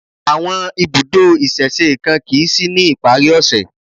Àwọn ibùdó ìsẹ̀se kan kìí sí ní ìparí ọ̀ṣẹ̀